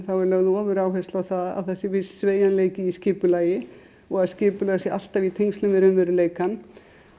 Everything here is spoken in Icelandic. þá er lögð ofuráhersla á það sé viss sveigjanleiki í skipulagi og að skipulag sé alltaf í tengslum við raunveruleikann